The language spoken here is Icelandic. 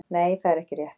Nei það er ekki rétt.